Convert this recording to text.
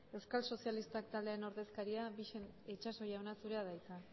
euskal sozialistak taldearen ordezkaria bixen itxaso jauna zurea da hitza